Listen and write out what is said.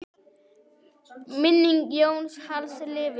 Minning Jóns Halls lifir.